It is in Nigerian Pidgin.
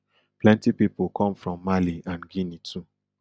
plenty pipo come from mali and guinea too